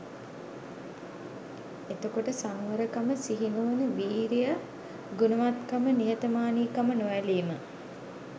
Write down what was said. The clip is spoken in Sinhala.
එතකොට සංවරකම සිහිනුවණ වීරිය ගුණවත්කම නිහතමානීකම නොඇලීම